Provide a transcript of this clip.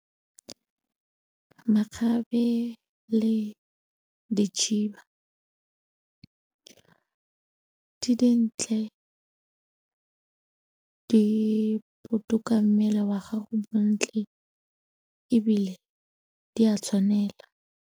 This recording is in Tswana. Makgabe le dikhiba, di dintle, di botoka mmele wa gago bontle ebile di a tshwanela.